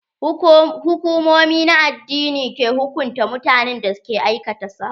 Hukumomi na addini ke hukunta mutanen da ke aikata sabo.